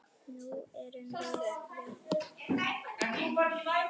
Nú erum við jafnir.